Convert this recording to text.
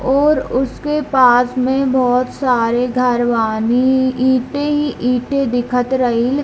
और उसके पास में बहुत सारे घर बानी ईंटें ही ईंटें दिखत रहील।